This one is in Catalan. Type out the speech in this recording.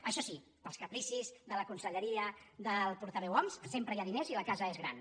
això sí per als capricis de la con·selleria del portaveu homs sempre hi ha diners i la casa és gran